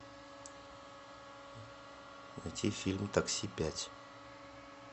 найти фильм такси пять